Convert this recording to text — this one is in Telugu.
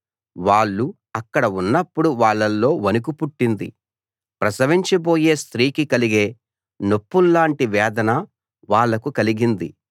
వాళ్ళు అక్కడ ఉన్నప్పుడు వాళ్ళలో వణుకు పుట్టింది ప్రసవించబోయే స్త్రీకి కలిగే నొప్పుల్లాటి వేదన వాళ్లకు కలిగింది